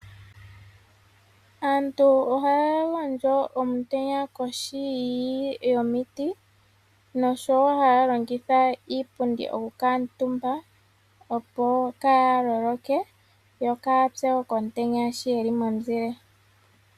Aantu ohaya gondjo omitenya kohi yomiti noshowo haya longitha iipundi oku kuutumba yo kaayapye komutenya sho yeli momuzile.